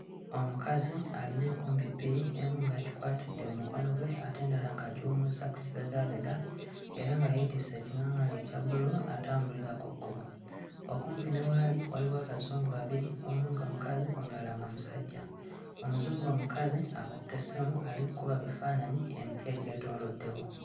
Omukazi alina enkumbi bbiri, emu ng'agikwatidde mu mukono gwe ate endala ng'agiwummuzza ku kibegaabega era nga yeetisse ekiŋaaŋaali ekya bbulu atambulira ku kkubo. Okumpi ne w'ali waliwo Abazungu babiri, omu nga mukazi omulala nga musajja; Omuzungu omukazi akutte essimu ali kkuba bifaananyi emiti egyetooloddewo.